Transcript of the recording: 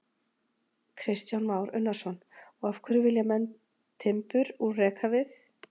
Kristján Már Unnarsson: Og af hverju vilja menn timbur úr rekavið?